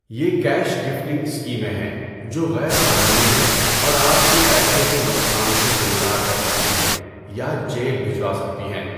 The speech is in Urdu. یہ 'کیش گفٹنگ' اسکیمیں ہیں جو غیر قانونی ہیں اور آپ کو پیسے کے نقصان سے دوچار کر سکتی ہیں یا جیل بھجوا سکتی ہیں۔